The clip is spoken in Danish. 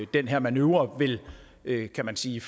den her manøvre vil kan man sige